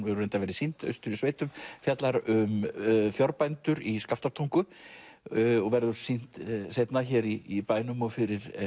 hefur reyndar verið sýnd austur í sveitum fjallar um í Skaftártungu og verður sýnd seinna hér í bænum og fyrir